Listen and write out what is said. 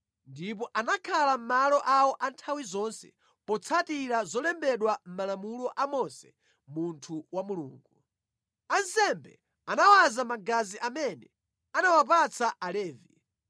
Ndipo anakhala mʼmalo awo a nthawi zonse potsatira zolembedwa mʼmalamulo a Mose munthu wa Mulungu. Ansembe anawaza magazi amene anawapatsa Alevi.